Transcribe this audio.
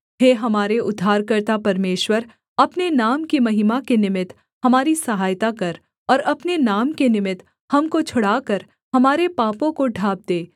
हे हमारे उद्धारकर्ता परमेश्वर अपने नाम की महिमा के निमित्त हमारी सहायता कर और अपने नाम के निमित्त हमको छुड़ाकर हमारे पापों को ढाँप दे